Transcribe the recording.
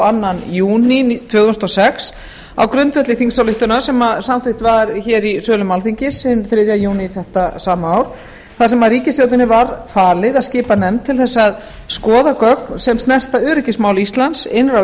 öðrum júní tvö þúsund og sex á grundvelli þingsályktunar sem samþykkt var hér í sölum alþingis hinn þriðja júní þetta sama ár þar sem ríkisstjórninni var falið að skipa nefnd til þess að skoða gögn sem snerta öryggismál íslands innra og